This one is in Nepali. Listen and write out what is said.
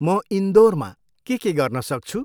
म इन्दोरमा के के गर्न सक्छु।